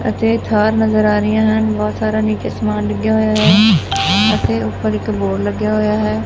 ਅਤੇ ਥਾਰ ਨਜ਼ਰ ਆ ਰਹੀਆਂ ਹਨ ਬਹੁਤ ਸਾਰਾ ਨੀਚੇ ਸਮਾਨ ਲੱਗਿਆ ਹੋਇਆ ਹੈ ਅਸੀਂ ਉਪਰ ਇੱਕ ਬੋਰਡ ਲੱਗਿਆ ਹੋਇਆ ਹੈ।